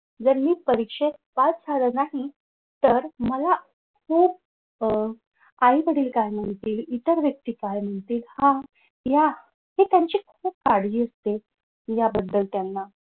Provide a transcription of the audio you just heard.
जर मी परीक्षेत पास झालो नाही तर मला खुप अह आई वडील काय म्हणतील इतर व्यक्ती काय म्हणतील हा या हि त्यांची खूप काळजी असते याबद्दल त्यांना